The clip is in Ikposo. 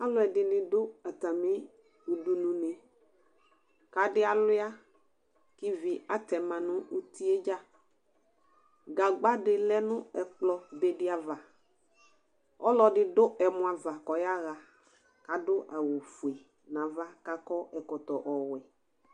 Alʋ ɛdɩnɩ dʋ atamɩ udunu nɩ; k' adɩ alʋɩa kʋ ivi atɛma nʋ uti yɛ dzaGagba dɩ lɛ nʋ ɛkplɔ be dɩ ava; ɔlɔdɩ dʋ ɛmɔ ava kʋ ɔyaɣa k' adʋ awʋ fue nava k' akɔ ɛkɔtɔ ɔwɛ